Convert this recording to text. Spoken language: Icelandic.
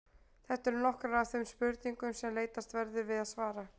Þetta eru nokkrar af þeim spurningum sem leitast verður við að svara.